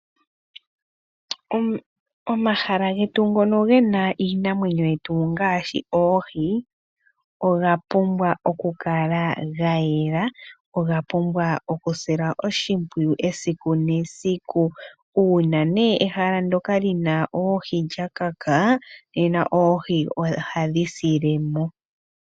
Omahala getu ngono gena iinamwenyo yetu ngaashi oohi oga pumbwa oku kala ga yela, oga pumbwa oku silwa oshimpwiyu esiku nesiku, uuna nee ehala ndoka lina oohi lya kaka nena oohi ohadhi silemo.